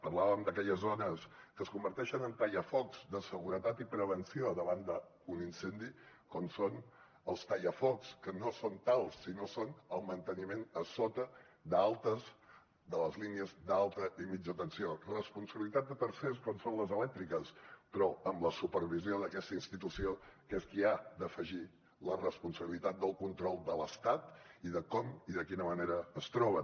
parlàvem d’aquelles zones que es converteixen en tallafocs de seguretat i prevenció davant d’un incendi com són els tallafocs que no són tals sinó que són el manteniment a sota de les línies d’alta i mitjana tensió responsabilitat de tercers com són les elèctriques però amb la supervisió d’aquesta institució que és qui ha d’afegir la responsabilitat del control de l’estat i de com i de quina manera es troben